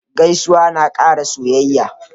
Gaisuwa na ƙara soyayya.